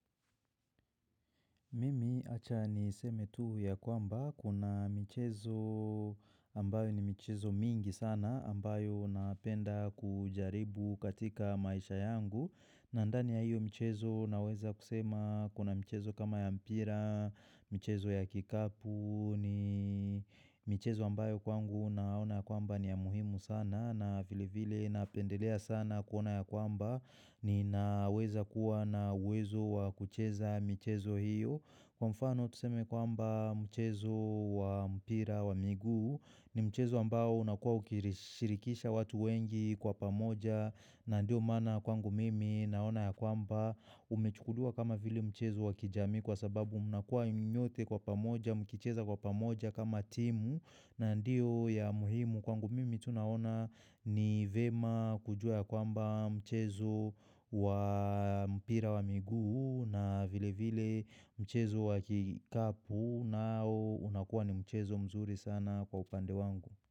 Mimi acha ni seme tu ya kwamba kuna mchezo ambayo ni mchezo mingi sana ambayo napenda kujaribu katika maisha yangu. Nadhani ya hiyo mchezo naweza kusema kuna mchezo kama ya mpira, mchezo ya kikapu ni mchezo ambayo kwangu naona kwamba ni ya muhimu sana. Na vile vile napendelea sana kuona ya kwamba ni naweza kuwa na uwezo wa kucheza mchezo hiyo. Kwa mfano tuseme kwamba mchezo wa mpira wa miguu ni mchezo ambao unakuwa ukirishirikisha watu wengi kwa pamoja na ndio maana kwangu mimi naona ya kwamba umechukuliwa kama vile mchezo wa kijamii kwa sababu unakuwa nyote kwa pamoja, mkicheza kwa pamoja kama timu na ndio ya muhimu. Kwangu mimi tunahona ni vema kujua ya kwamba mchezo wa mpira wa miguu na vile vile mchezo wa kikapu na au unakuwa ni mchezo mzuri sana kwa upande wangu.